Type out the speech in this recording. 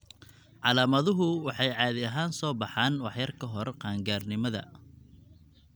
Calaamaduhu waxay caadi ahaan soo baxaan wax yar ka hor qaan-gaarnimada.